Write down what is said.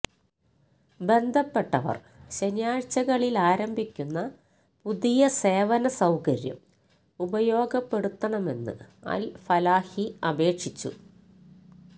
ബന്ധപ്പെട്ടവര് ശനിയാഴ്ചകളിലാരംഭിക്കുന്ന പുതിയ സേവന സൌകര്യം ഉപയോഗപ്പെടുത്തണമെന്ന് അല് ഫലാഹി അപേക്ഷിച്ചു